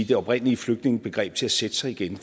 det oprindelige flygtningebegreb til at sætte sig igen